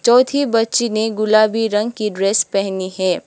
चौथी बच्ची ने गुलाबी रंग की ड्रेस पहनी है।